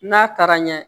N'a taara ɲɛ